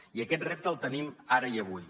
i aquest repte el tenim ara i avui